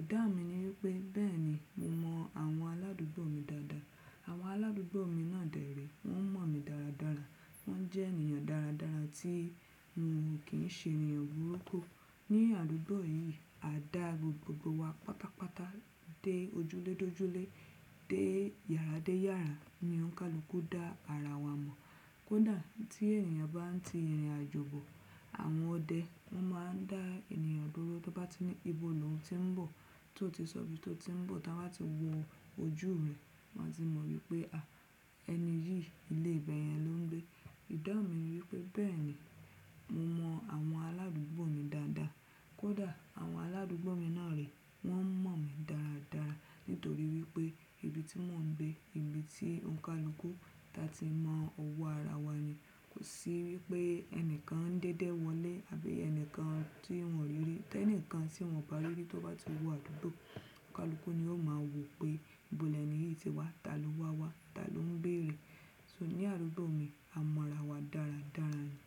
ìdá mi ni wípé bẹ́ẹ̀ni mo mọ àwọn aládùúgbò mi dáadáa. Àwọn aládùúgbò mi náà dè rée, wọ́n mọ̀ mi dáradára. Wọ́n jẹ́ ènìyàn dáradára tí mo kì í ṣe ènìyàn burúkú. Ni àdúgbò yìí a dá gbogbo wa pátápátá dé ojúlédójúlé, dé yàrá dé yàrá ni ònkàlúkú dá ara wa mọ̀. Kódà tí ènìyàn bá ń ti irin àjò bọ̀, àwọn ọdẹ wọ́n máa ń dá ènìyàn dúró tí wọ́n bá ti ní ìbò lóun tí ń bọ̀. Tí ó ti sọ ibi tí ó ń bọ̀, tí wọ́n bá ti wo ojú rẹ̀, wọ́n á ti mọ̀ wípé ẹni yìí ilé ibẹ̀yẹn ló ń gbé. Ìdáhun mi ni wípé bẹ́ẹ̀ni mo mọ àwọn aládùúgbò mi dáadáa. Kódà àwọn aládùúgbò mi náà re, wọ́n mọ̀ mi dáadáa nítorí wípé ibi tí mò ń gbé, ibi tí òǹkàlúkú ti máa mọ owó ara wa ni. Kò sí wípé ẹnìkan ń déédé wọlé àbẹ́ yẹn nìkan tí wọ́n ò rí rí. Tí ẹnìkan tí wọ́n ò bá rí rí tó bá ti wọ àdúgbò, òǹkàlúkú ni ó máa wo pé ìbò lẹ́ẹ̀nì yìí ti wá, ta ló wá wá, ta ló ń bée re. So ní àdúgbò mi a mọ ara wa dáradára ni.